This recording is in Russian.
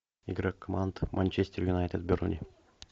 игра команд манчестер юнайтед бернли